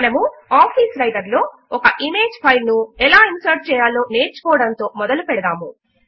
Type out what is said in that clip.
మనము office writer లో ఒక ఇమేజ్ ఫెయిల్ ను ఎలా ఇన్సర్ట్ చేయాలో నేర్చుకోవడముతో మొదలు పెడతాము